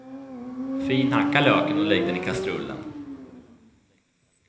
Finhacka löken och lägg den i kastrullen.